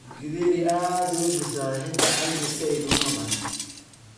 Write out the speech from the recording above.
githeri aad buu u bislaaday hita calanjis said uma bahna